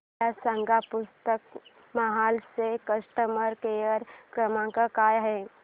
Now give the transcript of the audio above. मला सांगा पुस्तक महल चा कस्टमर केअर क्रमांक काय आहे